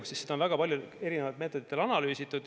Seda on väga palju ja erinevatel meetoditel analüüsitud.